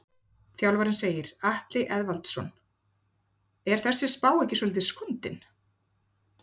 Þjálfarinn segir- Atli Eðvaldsson Er þessi spá ekki svolítið skondin?